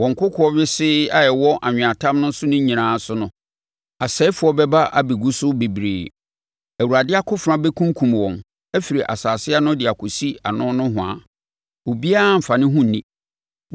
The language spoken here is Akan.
Wɔ nkokoɔ wesee a ɛwɔ anweatam no nyinaa so no, asɛefoɔ bɛba abɛgu so bebree, Awurade akofena bɛkunkum wɔn afiri asase ano de akɔsi ano nohoa; obiara remfa ne ho nni.